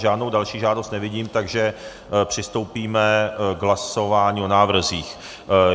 Žádnou další žádost nevidím, takže přistoupíme k hlasování o návrzích.